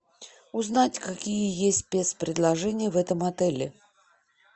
узнать какие есть спецпредложения в этом отеле